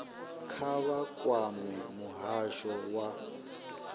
kha vha kwame muhasho wa